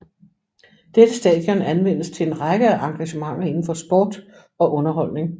Dette stadion anvendes til en række af engagementer indenfor sport og underholdning